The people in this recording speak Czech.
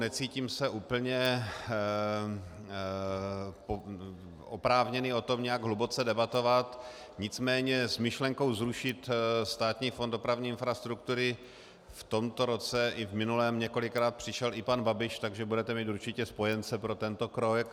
Necítím se úplně oprávněn o tom nějak hluboce debatovat, nicméně s myšlenkou zrušit Státní fond dopravní infrastruktury v tomto roce i v minulém několikrát přišel i pan Babiš, takže budete mít určitě spojence pro tento krok.